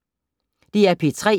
DR P3